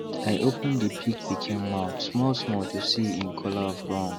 i open the pig pikin mouth small small to see en color of gum